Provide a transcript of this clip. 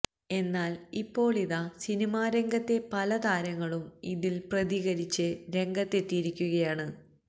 എന്നാൽ ഇപ്പോളിതാ സിനിമാ രംഗത്തെ പല താരങ്ങളും ഇതിൽ പ്രതികരിച്ച് രംഗത്തെത്തിയിരിക്കുകയാണ്